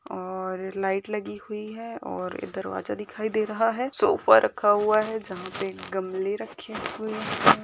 और लाईट लगी हुई है और एक दरवाजा दिखाई दे रहा है सोफा रखा हुआ है जहाँ पर गमले रखें हुए हैं।